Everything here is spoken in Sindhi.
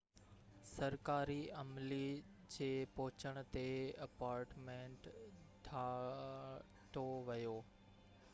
سرڪاري عملي جي پهچڻ تي اپارٽمينٽ ڍاٺو ويو